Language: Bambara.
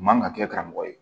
U man ka kɛ karamɔgɔ ye